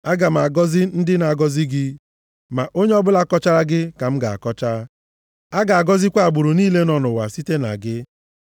Aga m agọzi ndị na-agọzi gị, ma onye ọbụla kọchara gị ka m ga-akọcha; a ga-agọzikwa agbụrụ niile nọ nʼụwa site na gị.”